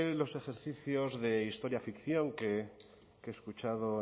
los ejercicios de historia ficción que he escuchado